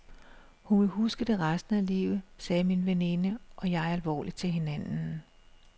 Hun vil huske det resten af livet, sagde min veninde og jeg alvorligt til hinanden.